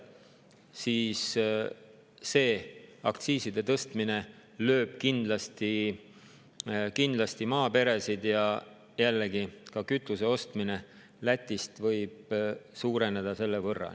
Nii et aktsiiside tõstmine lööb kindlasti maaperesid ja jällegi ka kütuse ostmine Lätist võib selle võrra suureneda.